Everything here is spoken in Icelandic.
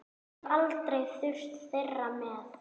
Hef aldrei þurft þeirra með.